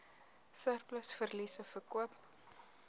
surplus verliese verkoop